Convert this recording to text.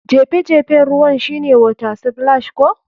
Jefe jefen ruwan shine water splash ko?